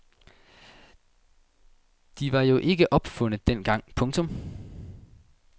De var jo ikke opfundet dengang. punktum